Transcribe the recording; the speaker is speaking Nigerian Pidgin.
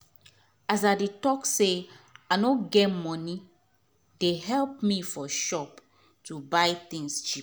as i dey talk say i nor get moni dey help me for shop to buy tins cheap